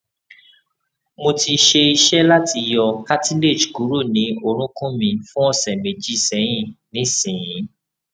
mo ti se ise lati yo cartilage kuro ni orukun mi fun ose meji sehin nisin